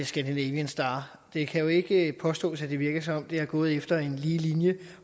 scandinavian star det kan jo ikke påstås at det virker som om det er gået efter en lige linje